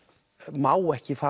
má ekki fara